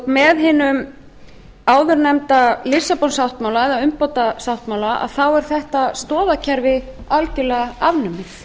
með hinum áður nefnda lissabon sáttmála eða umbótasáttmála þá er þetta stoðakerfi algerlega afnumið